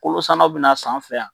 Kolo sann'a bina s'an fɛ yan.